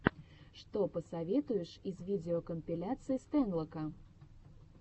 что посоветуешь из видеокомпиляций стэнлока